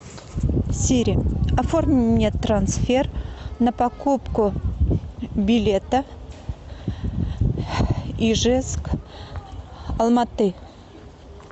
сири оформи мне трансфер на покупку билета ижевск алмааты